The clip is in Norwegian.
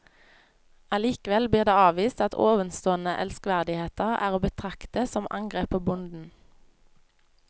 Allikevel blir det avvist at ovenstående elskverdigheter er å betrakte som angrep på bonden.